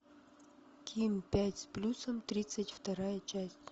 ким пять с плюсом тридцать вторая часть